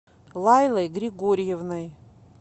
лайлой григорьевной